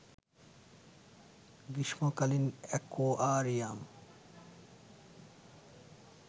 গ্রীষ্মকালীন অ্যাকোয়ারিয়াম